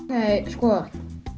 sko